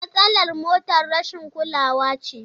Matsalar motar rashin kulawa ce.